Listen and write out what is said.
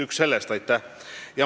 Selle eest aitäh!